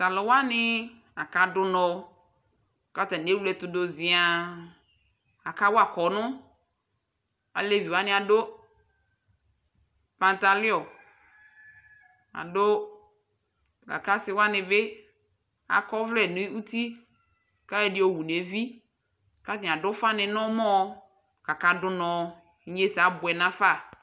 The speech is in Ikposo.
Taluwani akadu nɔ ku atani ewle ɛtu du ziaa Akawa kɔnu Alevi wani adu ɛku du nu uti nuli adu la ku ɔsiwani bi akɔ ɔvlɛni nu uti ku ayɔ ɛdi wu nu evi ku atani adu ufani nu ɔmɔ inye ɛsɛ abuɛ nu afa